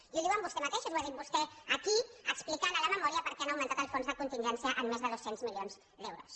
i ho diuen vostès mateixos ho ha dit vostè aquí explicant en la memòria per què han augmentat els fons de contingència en més de dos cents milions d’euros